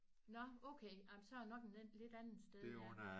Nåh okay ej men så er det nok en lidt anden sted ja